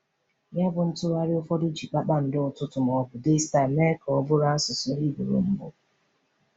Yabụ, ntụgharị ụfọdụ ji “kpakpando ụtụtụ” ma ọ bụ “Daystar” mee ka ọ bụrụ asụsụ Hibru mbụ.